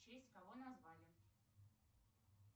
в честь кого назвали